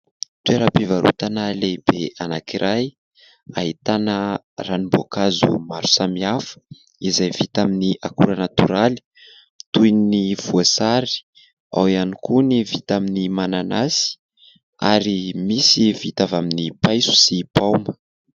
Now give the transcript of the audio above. Toeram-pivarotana lehibe anankiray. Ahitana ranomboankazo maro samihafa izay vita amin'ny akora natoraly toy ny voasary, ao ihany koa ny vita amin'ny mananasy ary misy vita avy amin'ny paiso sy paoma.